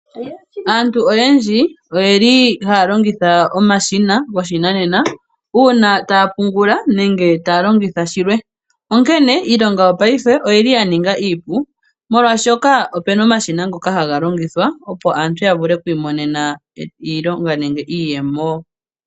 Aantu oyendji oyeli haya longitha omashina goshinanena uuna taya pungula nenge taya longitha shilwe. Onkene iilonga yopaife oyili ya ninga iipu molwashoka opuna omashina ngoka haga longithwa opo aantu ya vule oku imonena iilonga nenge iiyemo.